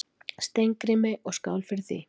Steingrími, og skál fyrir því!